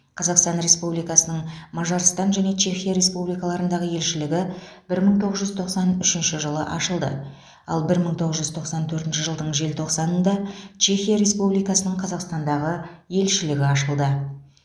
қазақстан республикасының мажарстан және чехия республикаларындағы елшілігі бір мың тоғыз жүз тоқсан үшінші жылы ашылды ал бір мың тоғыз жүз тоқсан төртінші жылдың желтоқсанында чехия республикасының қазақстандағы елшілігі ашылды